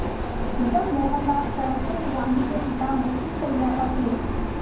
जब मोहनदास करमचंद गांधी के पिता मृत्युशैया पर थे